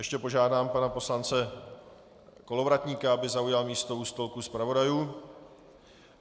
Ještě požádám pana poslance Kolovratníka, aby zaujal místo u stolku zpravodajů.